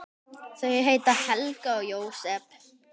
Þau heita Helga og Jósep.